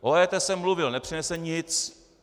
O EET jsem mluvil, nepřinese nic.